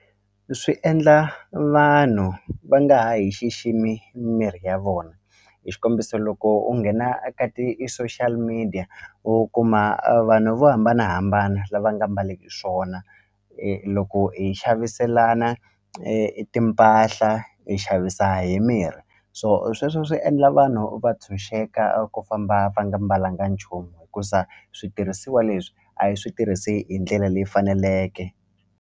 Swi endla vanhu va nga ha hi xiximi mirhi ya vona hi xikombiso loko u nghena a ka i ti-social media u kuma vanhu vo hambanahambana lava nga mbaleki swona loko hi xaviselana timpahla hi xavisa hi mirhi so sweswo swi endla vanhu va ntshunxeka ku famba va nga mbalanga nchumu hikusa switirhisiwa leswi a hi swi tirhisi hi ndlela leyi faneleke.